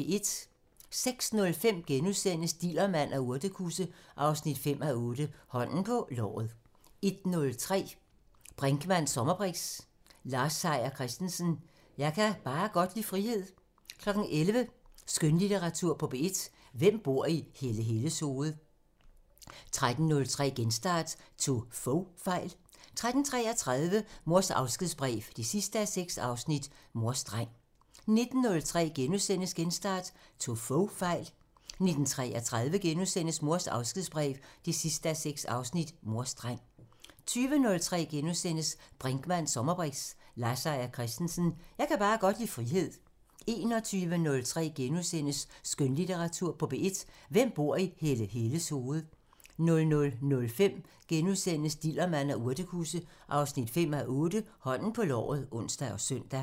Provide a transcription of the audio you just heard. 06:05: Dillermand og urtekusse 5:8 Hånden på låret * 10:03: Brinkmanns sommerbriks: Lars Seier Christensen – Jeg kan bare godt lide frihed 11:03: Skønlitteratur på P1: Hvem bor i Helle Helles hoved? 13:03: Genstart: Tog Fogh fejl? 13:33: Mors afskedsbrev 6:6 – Mors dreng 19:03: Genstart: Tog Fogh fejl? * 19:33: Mors afskedsbrev 6:6 – Mors dreng * 20:03: Brinkmanns sommerbriks: Lars Seier Christensen – Jeg kan bare godt lide frihed * 21:03: Skønlitteratur på P1: Hvem bor i Helle Helles hoved? * 00:05: Dillermand og urtekusse 5:8 Hånden på låret *(ons og søn)